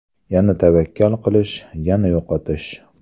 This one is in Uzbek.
Yana tavakkal qilish, yana yo‘qotish.